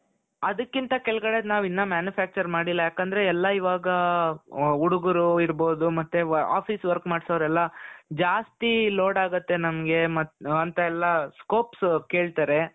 ಅದಕ್ಕಿಂತ ಕೆಳಗಡೆದು ನಾವ್ ಇನ್ನ manufacture ಮಾಡಿಲ್ಲಾ ಯಾಕೆಂದ್ರೆ ಎಲ್ಲಾ ಇವಾಗ ಹುಡುಗರು ಇರಬಹುದು ಮತ್ತೆ office work ಮಾಡ್ಸೋರೆಲ್ಲಾ ಜಾಸ್ತಿ ಲೋಡ್ ಆಗುತ್ತೆ ನಮ್ಗೆ ಅಂತ ಎಲ್ಲಾ scopes ಕೇಳ್ತಾರೆ .